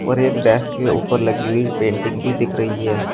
और एक डेस्क के ऊपर लगी हुई पेंटिंग भी दिख रही है।